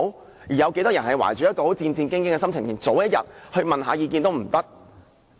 當中有多少人是懷着戰戰兢兢的心情，連早一天問意見也不可以。